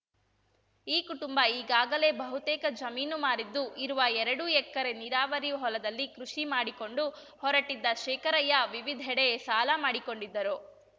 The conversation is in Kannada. ಈ ಕುಟುಂಬ ಈಗಾಗಲೇ ಬಹುತೇಕ ಜಮೀನು ಮಾರಿದ್ದು ಇರುವ ಎರಡು ಎಕರೆ ನೀರಾವರಿ ಹೊಲದಲ್ಲಿ ಕೃಷಿ ಮಾಡಿಕೊಂಡು ಹೊರಟಿದ್ದ ಶೇಖರಯ್ಯ ವಿವಿಧೆಡೆ ಸಾಲ ಮಾಡಿಕೊಂಡಿದ್ದರು